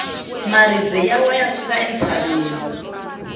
maribye ya wa ya suka entshaveni